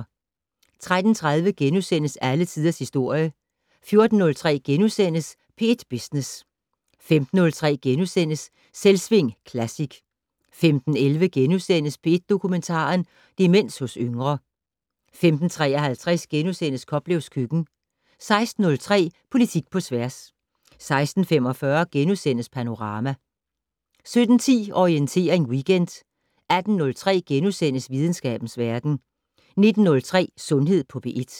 13:30: Alle tiders historie * 14:03: P1 Business * 15:03: Selvsving Classic * 15:11: P1 Dokumentar: Demens hos yngre * 15:53: Koplevs køkken * 16:03: Politik på tværs 16:45: Panorama * 17:10: Orientering Weekend 18:03: Videnskabens verden * 19:03: Sundhed på P1 *